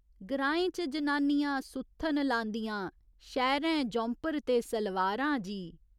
ग्राएं च जनानियां सुत्थन लांदियां शैह्‌रैं जौंपर ते सलवारां जी।